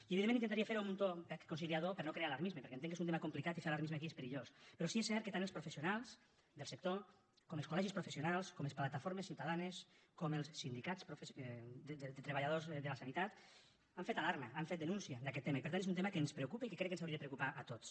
i evidentment intentaria fer ho amb un to conciliador per a no crear alarmisme perquè entenc que és un tema complicat i fer alarmisme aquí és perillós però sí és cert que tant els professionals del sector com els col·legis professionals com les plataformes ciutadanes com els sindicats de treballadors de la sanitat han fet alarma han fet denúncia d’aquest tema i per tant és un tema que ens preocupa i que crec que ens hauria de preocupar a tots